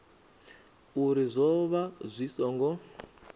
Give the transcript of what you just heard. uri zwo vha zwi songo